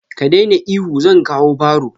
Ka daina ihu, zan kawo barro.